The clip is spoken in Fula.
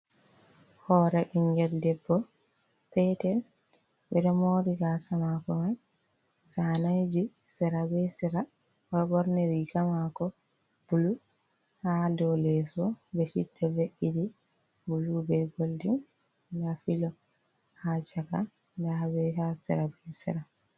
Hore ɓingel debbo peter, ɓe ɗo mori gasa mako man zaneji sera be sera, o ɗo ɓorni riga mako bulu, ha do leso beshid ɗo ve'eti bulu be goldin, nda filo ha chaka, nda ha be sera be sera.